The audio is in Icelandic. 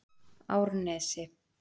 Árnesi